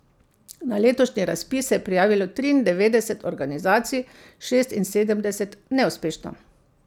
Na letošnji razpis se je prijavilo triindevetdeset organizacij, šestinsedemdeset neuspešno.